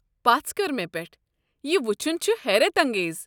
پژھ كر مےٚ پٮ۪ٹھ، یہِ وچھُن چھُ حیرت انٛگیز۔